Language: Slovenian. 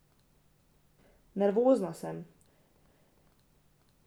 Nervozna sem.